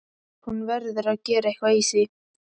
Hún verður að gera eitthvað í því.